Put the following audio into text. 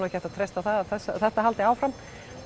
ekki hægt að treysta á að þetta haldi áfram